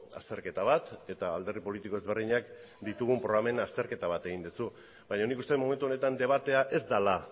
azterketa bat eta alderdi politiko ezberdinak ditugun programen azterketa bat egin duzu baina nik uste dut momentu honetan debatea ez dela